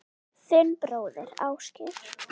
Þinn bróðir, Ásgeir.